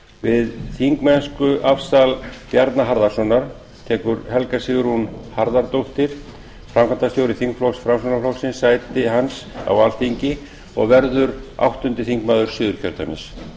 við þingmennskuafsal bjarna harðarsonar tekur helga sigrún harðardóttir framkvæmdastjóri þingflokks framsóknarflokksins sæti hans á alþingi og verður áttundi þingmaður suðurkjördæmis